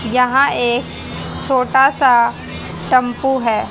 यहां एक छोटा सा टेंपो है।